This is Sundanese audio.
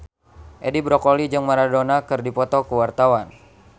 Edi Brokoli jeung Maradona keur dipoto ku wartawan